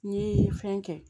N ye fɛn kɛ